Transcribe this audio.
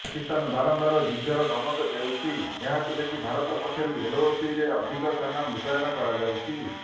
ପାକିସ୍ତାନ ବାରମ୍ବାର ଯୁଦ୍ଧର ଧମକ ଦେଉଛି ଏହାକୁ ଦେଖି ଭାରତ ପକ୍ଷରୁ ଏଲ୍ଓସିରେ ଅଧିକ ସେନା ମୁତୟନ କରାଯାଉଛି